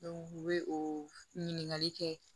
u bɛ o ɲininkali kɛ